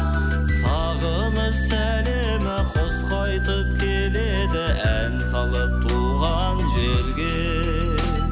сағыныш сәлемі құс қайтып келеді ән салып туған жерге